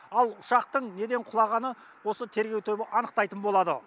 ал ұшақтың неден құлағаны осы тергеу тобы анықтайтын болады